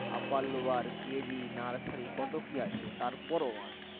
upper lower KG nursery কত কি আছে তারপরে one